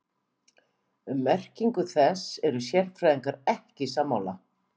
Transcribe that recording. Um merkingu þess eru sérfræðingar ekki sammála.